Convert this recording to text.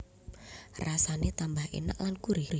Rasane tambah enak lan gurih